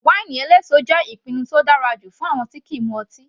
Wáínì eléso jẹ́ ìpinnu tó dára jù fún àwọn tí kìí mu ọtí.